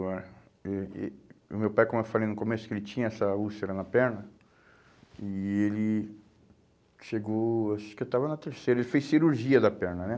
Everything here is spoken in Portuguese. O meu pai, como eu falei no começo, ele tinha essa úlcera na perna e ele chegou, acho que eu estava na terceira, ele fez cirurgia da perna, né?